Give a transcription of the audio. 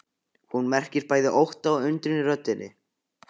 Hún merkir bæði ótta og undrun í röddinni.